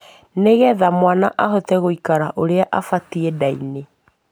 Nigetha mwana ahote guikara uria abatie ndaiini